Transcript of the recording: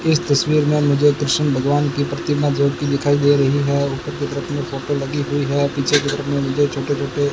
इस तस्वीर में मुझे कृष्ण भगवान की प्रतिमा ज्योति दिखाई दे रही है ऊपर की तरफ अपनी फोटो लगी हुई है पीछे की तरफ में मुझे छोटे छोटे --